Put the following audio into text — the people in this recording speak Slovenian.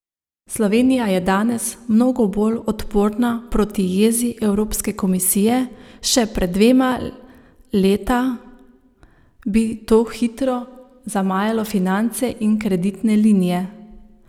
Slovenija je danes mnogo bolj odporna proti jezi Evropske komisije, še pred dvema leta bi to hitro zamajalo finance in kreditne linije.